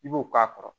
I b'o k'a kɔrɔ